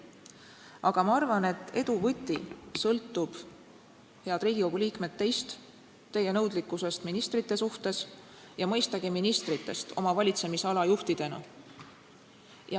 Aga ma arvan, et edu võti sõltub, head Riigikogu liikmed, teist, teie nõudlikkusest ministrite suhtes ja mõistagi ministritest oma valitsemisala juhtidena.